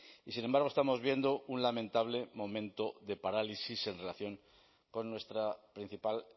y sin embargo estamos viendo un lamentable momento de parálisis en relación con nuestra principal